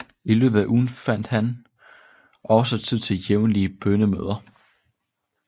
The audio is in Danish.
I løbet af ugen fandt han også tid til jævnlige bønnemøder